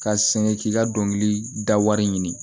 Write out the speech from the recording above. Ka sɛŋɛn k'i ka dɔnkili da wari ɲini